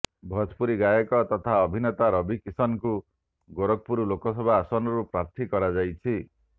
ଭୋଜପୁରୀ ଗାୟକ ତଥା ଅଭିନେତା ରବି କିଶନଙ୍କୁ ଗୋରଖପୁର ଲୋକସଭା ଆସନରୁ ପ୍ରାର୍ଥୀ କରାଯାଇଛି